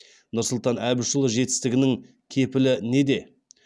нұрсұлтан әбішұлы жетістігінің кепілі неде